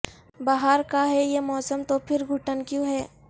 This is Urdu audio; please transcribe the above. بہار کا ہے یہ موسم تو پھر گھٹن کیوں ہے